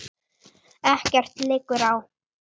Ekkert liggur á